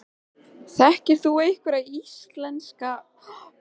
Kristján Már: En var hann skrafhreifinn?